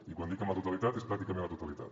i quan dic amb la totalitat és pràcticament la totalitat